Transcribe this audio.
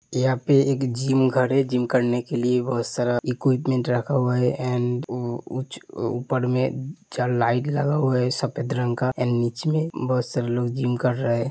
यहां पे एक जिम घर है। जिम करने के लिए बोहोत सारा इक्विपमेंट रखा हुआ है एंड उ उच्च ऊपर में चार लाईट लगा हुआ है सफेद रंग का एंड नीचे में बोहोत बहो सारे लोग जिम कर रहे --